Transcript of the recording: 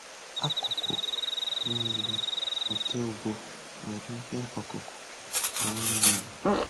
Akụkụ niile nke ụgbọ nwere ihe ọkụkụ na anụmanụ.